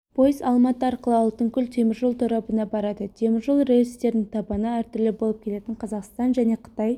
пойыз алматы арқылы алтынкөл теміржол торабына барады теміржол рельстерінің табаны әртүрлі болып келетін қазақстан және қытай